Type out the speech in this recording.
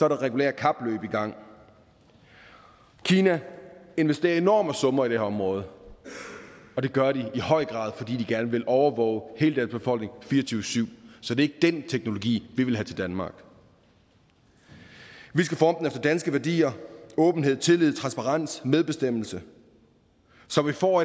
et regulært kapløb i gang kina investerer enorme summer i det her område og det gør de i høj grad fordi de gerne vil overvåge hele deres befolkning fire og tyve syv så det er ikke den teknologi vi vil have til danmark vi skal forme den efter danske værdier åbenhed tillid transparens og medbestemmelse så vi får